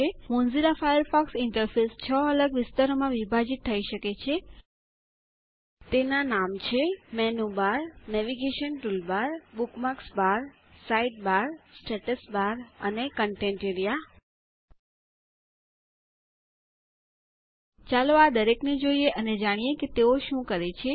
Mozilla Firefox interface 6 અલગ વિસ્તારોમાં વિભાજીત થઈ શકે છે તેના નામ છે the menu bar the navigation toolbar the bookmarks bar the side bar the status bar અને થે કન્ટેન્ટ એઆરઇએ ચાલો આ દરેકને જોઈએ અને જાણીએ કે તેઓ શું કરે છે